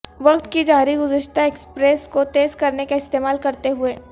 وقت کی جاری گذشتہ ایکسپریس کو تیز کرنے کا استعمال کرتے ہوئے